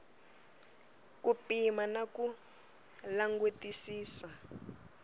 ku pima na ku langutisisa